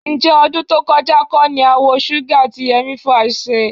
Ǹjẹ́ ọdún tó kọjá kọ́ ni a wa Shuga tí Yọ̀mí Fash ṣe?